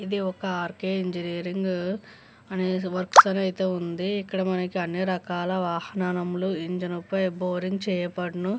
ఇది ఒక ఆర్కే ఇంజనీరింగ అనేసి వర్క్స్ అనైతే ఉంది ఇక్కడ మనకీ అన్ని రకాల వాహనానములు ఇంజన్ పై బోరింగ్ చేయబడును.